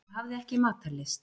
Ég hafði ekki matarlyst.